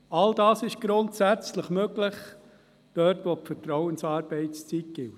All das ist grundsätzlich dort möglich, wo die Vertrauensarbeitszeit gilt.